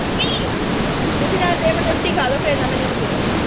ਤੁਸੀਂ ਨਾਲ ਦੀ ਨਾਲ ਰੋਟੀ ਖਾ ਲੋ, ਫੇਰ ਨਾ ਮੈਨੂੰ ਕਿਹੋ।